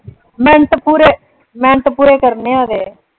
Minute ਪੂਰੇ minute ਪੂਰੇ ਕਰਨੇ ਆ ਅਜੇ।